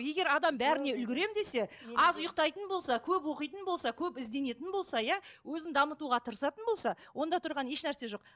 егер адам бәріне үлгеремін десе аз ұйқтайтын болса көп оқитын болса көп ізденетін болса иә өзін дамытуға тырысатын болса онда тұрған ешнәрсе жоқ